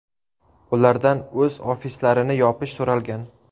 Ulardan o‘z ofislarini yopish so‘ralgan.